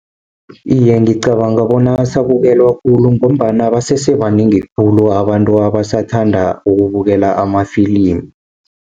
Iye, ngicabanga bona asabukelwa khulu, ngombana basese banengi khulu abantu abasathanda ukubukela ama-film.